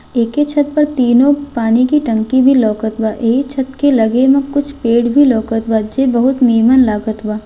एके छत पर तीनो पानी की टंकी भी लोकत बा एही छत के लगे में कुछ पेड़ भी लोकत बा जे बहुत निम्न लागत बा।